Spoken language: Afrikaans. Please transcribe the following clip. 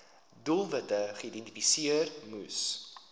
doelwitte geïdentifiseer moes